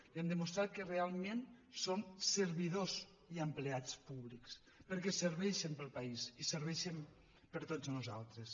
i han demostrat que realment són servidors i empleats públics perquè serveixen el país i serveixen per a tots nosaltres